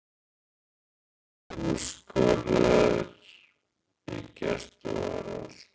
Tveir úrskurðaðir í gæsluvarðhald